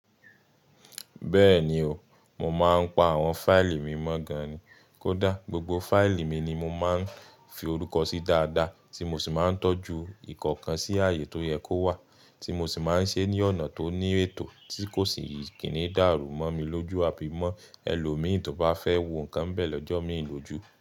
Bẹ́ẹ̀ni o, mo máa ń pa àwọn fáìlì mi mọ́ gan-an ni. Kódà gbogbo fáìlì mi ni mo máa ń fi orúkọ sí dáadáa tí mo sì máa ń tọ́jú ìkọ̀ọ̀kan sí ààyè tó yẹ kó wà tí mo sì máa ń ṣe ní ọ̀nà tó ní ètò tí kò sì ní kíní dàrú mọ́ mi lójú àbí mọ́ ẹlòmíì tí ó bá fẹ́ wo nǹkan bẹ̀ lọ́jọ́ mi ìlójú.